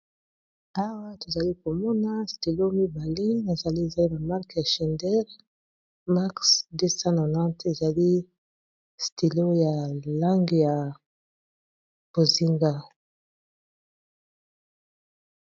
Awa tozali komona stylo mi berlin ezali na mark ya schineider maxx 290 ezali stylo ya langi ya bozinga.